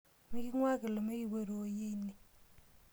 Miking'uaa kilome kipoito oyie ine.